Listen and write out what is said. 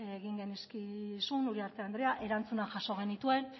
egin genizkizun uriarte andrea erantzunak jaso genituen